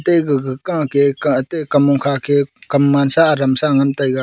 ate gaga ka ke kam mong kha ke kam man sa adam sa ngan tega.